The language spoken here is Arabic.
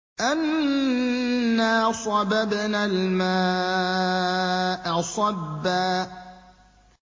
أَنَّا صَبَبْنَا الْمَاءَ صَبًّا